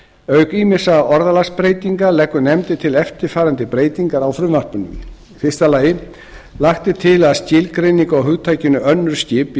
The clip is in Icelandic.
auk ýmissa orðalagsbreytinga leggur nefndin til eftirfarandi breytingar á frumvarpinu fyrstu lagt er til að skilgreiningu á hugtakinu önnur skip í